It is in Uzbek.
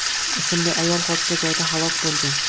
ismli ayol hodisa joyida halok bo‘lgan.